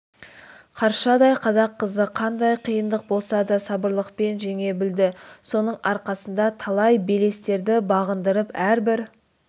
қаршадай қазақ қызы қандай қиындық болса да сабырлықпен жеңе білді соның арқасында талай белестерді бағындырып әрбір